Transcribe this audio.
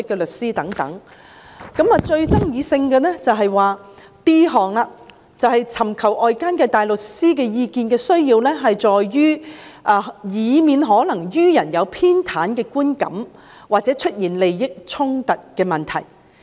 但是，最具爭議性的是第 d 項，便是尋求外間大律師意見的需要在於，為免可能予人有偏袒的觀感或出現利益衝突的問題。